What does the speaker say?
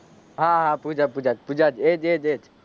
હા હા પૂજા પૂજા પૂજા એ જ એ જ એ જ